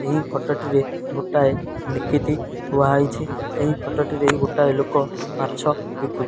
ଏହି ଫଟ ଟିରେ ଗୋଟାଏ ନିକିତି ଥିଆ ହେଇଚି ଏହି ଫଟ ଟିରେ ଗୋଟାଏ ଲୋକ ମାଛ ବିକୁଛି।